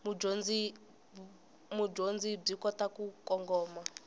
mudyondzi byi kota ku kongoma